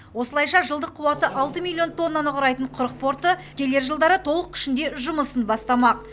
осылайша жылдық қуаты алты миллион тоннаны құрайтын құрық порты келер жылдары толық күшінде жұмысын бастамақ